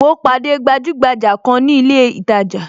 Mo pàdé gbajugbaja kan ni ilé itaja